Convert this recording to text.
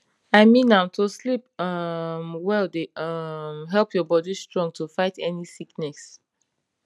i mean am to sleep um well dey um help your body strong to fight any sickness